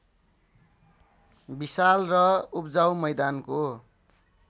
विशाल र उब्जाउ मैदानको